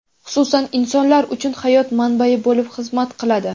xususan insonlar uchun hayot manbai bo‘lib xizmat qiladi.